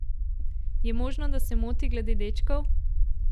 Je možno, da se moti glede dečkov?